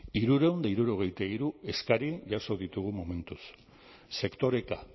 hirurehun eta hirurogeita hiru eskari jaso ditugu momentuz sektoreka